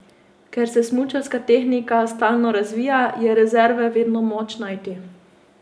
Ker se smučarska tehnika stalno razvija, je rezerve vedno moč najti.